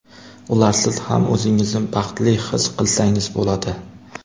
Ularsiz ham o‘zingizni baxtli his qilsangiz bo‘ladi.